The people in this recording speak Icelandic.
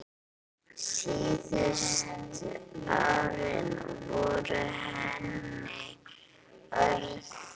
Síðustu árin voru henni örðug.